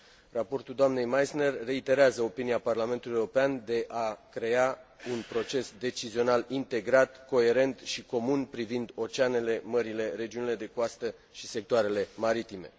Raportul doamnei Meissner reiterează opinia Parlamentului European de a crea un proces decizional integrat, coerent și comun privind oceanele, mările, regiunile de coastă și sectoarele maritime.